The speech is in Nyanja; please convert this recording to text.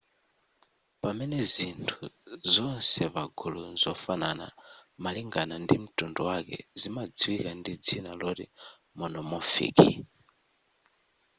pamene zinthu zonse pagulu mzofanana malingana ndi mtundu wake zimadziwika ndi dzina loti monomorphic